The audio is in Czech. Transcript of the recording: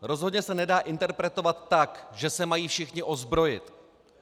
Rozhodně se nedá interpretovat tak, že se mají všichni ozbrojit.